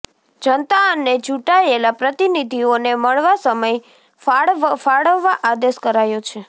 જનતા અને ચૂંટાયેલા પ્રતિનિધિઓને મળવા સમય ફાળવવા આદેશ કરાયો છે